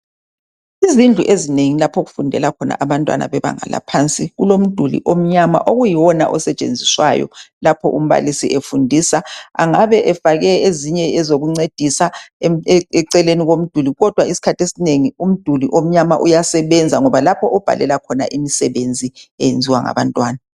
Izindlu ezingeni lapho okyfundela khona abafundi bebanga laphansu. Kulomduli omnyama okuyiwona esetshenziswayo lapho umbalisi efundisa. Engabe efake ezinye ezokuncedisa eceleni komduli kodwa umduli omnyama uyasebenza ngoba kulapho obhalela khona imsebenzi eyenziwa ngabantwana.